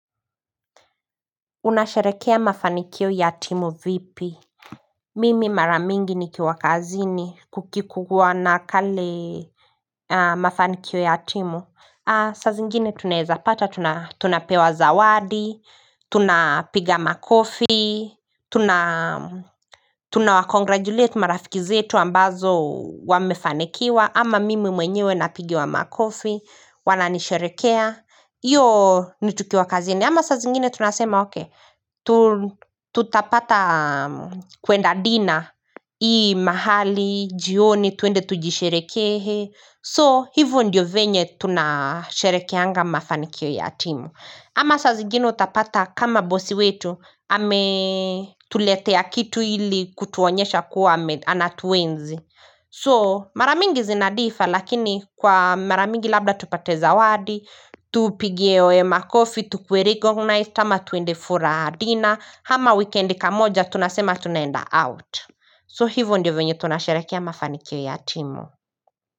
Unasherekea mafanikio ya timu vipi. Mimi maramingi nikiwa kazini kukikuwa na kale mafanikio ya timu saa zingine tunaweza pata tunapewa zawadi. Tuna piga makofi, tuna tuna wa congratulate rafiki zetu ambazo wamefanyikiwa ama mimi mwenyewe napigiwa makofi wana nisherekea. Hiyo nitukiwa kazini. Ama saa zingine tunasema ok tutapata kuenda dinner hii mahali, jioni, tuende tujisherekehe. So hivyo ndiyo venye tunasherekeaga mafanikio ya timu. Ama saa zingine utapata kama bosi wetu ame tuletea kitu hili kutuonyesha kuwa anatuwenzi. So mara mingi zinadifa lakini kwa mara mingi labda tupate zawadi. Tupigie oe makofi, tukuwe recognize kama tuende for a dinner. Ama wikendi kamoja tunasema tunaenda out. So hivyo ndiyo vyenye tunasharekea mafanikio ya timu.